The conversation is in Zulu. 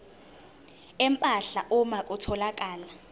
empahla uma kutholakala